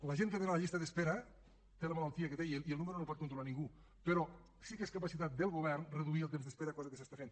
la gent que ha d’anar a la llista d’espera té la malaltia que té i el nombre no el pot controlar ningú però sí que és capacitat del govern reduir el temps d’espera cosa que s’està fent